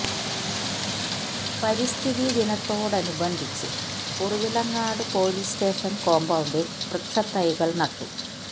പരിസ്ഥിതി ദിനത്തോടനുബന്ധിച്ച് Kuravilangad police station കോമ്പൌണ്ടിൽ വൃക്ഷ തൈകൾ നട്ടു